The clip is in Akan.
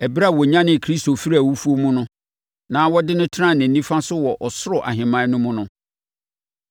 ɛberɛ a ɔnyanee Kristo firii awufoɔ mu na ɔde no tenaa ne nifa so wɔ ɔsoro ahemman no mu no.